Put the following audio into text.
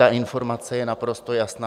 Ta informace je naprosto jasná.